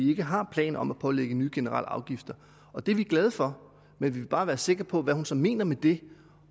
ikke har planer om at pålægge nye generelle afgifter og det er vi glade for men vi vil bare være sikre på hvad hun så mener med det